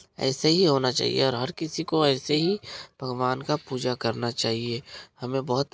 ऐसे ही होना चाहिए और हर किसी को ऐसे ही भगवान का पूजा करना चाहिए। हमें बहुत--